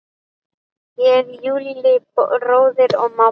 Ég, Júlli bróðir og mamma.